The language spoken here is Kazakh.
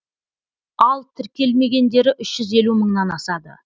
ал тіркелмегендері үш жүз елу мыңнан асады